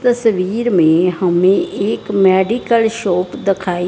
तस्वीर में हमें एक मेडिकल शॉप दखाई--